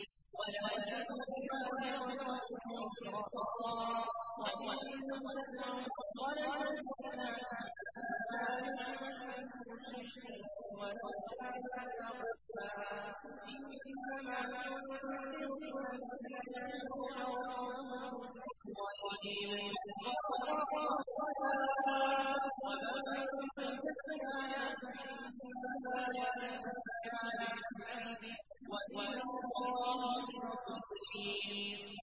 وَلَا تَزِرُ وَازِرَةٌ وِزْرَ أُخْرَىٰ ۚ وَإِن تَدْعُ مُثْقَلَةٌ إِلَىٰ حِمْلِهَا لَا يُحْمَلْ مِنْهُ شَيْءٌ وَلَوْ كَانَ ذَا قُرْبَىٰ ۗ إِنَّمَا تُنذِرُ الَّذِينَ يَخْشَوْنَ رَبَّهُم بِالْغَيْبِ وَأَقَامُوا الصَّلَاةَ ۚ وَمَن تَزَكَّىٰ فَإِنَّمَا يَتَزَكَّىٰ لِنَفْسِهِ ۚ وَإِلَى اللَّهِ الْمَصِيرُ